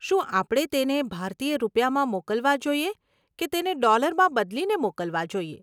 શું આપણે તેણે ભારતીય રૂપિયામાં મોકલવા જોઈએ કે તેણે ડોલરમાં બદલીને મોકલવા જોઈએ?